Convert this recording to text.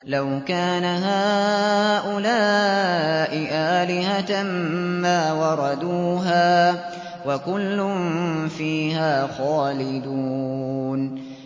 لَوْ كَانَ هَٰؤُلَاءِ آلِهَةً مَّا وَرَدُوهَا ۖ وَكُلٌّ فِيهَا خَالِدُونَ